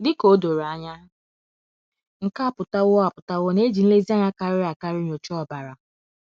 Dị ka o doro anya, nke a apụtawo a apụtawo na e ji nlezianya karịrị akarị nyochaa ọbara.